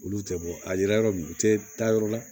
Olu tɛ bɔ a yɛrɛ u tɛ taa yɔrɔ la